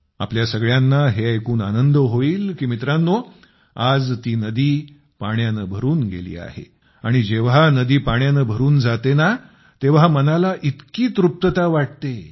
आपल्या सगळ्यांना हे ऐकून आनंद होईल की मित्रांनो आज ती नदी पाण्याने भरून गेली आहे आणि जेव्हा नदी पाण्याने भरून जाते ना तेव्हा मनाला इतकी शांतता तृप्तता वाटते